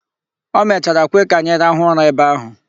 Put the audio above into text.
O mechara kwe ka anyị rahụ ụra ebe ahụ.